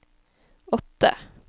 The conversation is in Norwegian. åtte